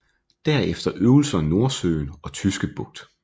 Derefter øvelser i Nordsøen og Tyske Bugt